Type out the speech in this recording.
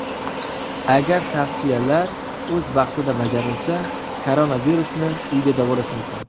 Agar tavsiyalar o‘z vaqtida bajarilsa, koronavirusni uyda davolash mumkin.